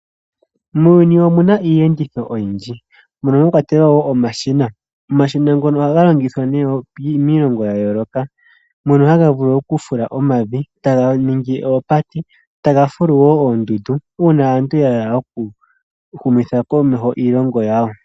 Muuyuni omu na iiyenditho oyindji, mono mwakwatelwa wo omashina. Omashina ngono ohaga longithwa miilongo yayooloka. Mono haga vulu okufula omavi, taga ningi oopate, taga fulu wo oondundu uuna aantu ya hala okuhumitha komeho iilonga yawo.